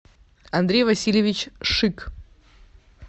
андрей васильевич шик